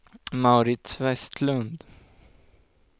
Mauritz Westlund